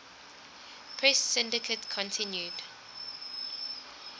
press syndicate continued